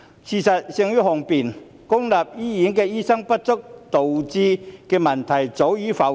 事實勝於雄辯，公立醫院醫生不足導致的問題，早已浮現。